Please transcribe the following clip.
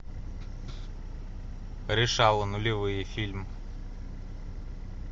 решала нулевые фильм